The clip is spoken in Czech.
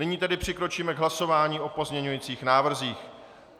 Nyní tedy přikročíme k hlasování o pozměňujících návrzích.